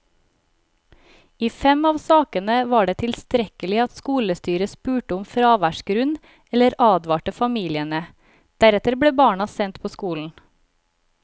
I fem av sakene var det tilstrekkelig at skolestyret spurte om fraværsgrunn eller advarte familiene, deretter ble barna sendt på skolen.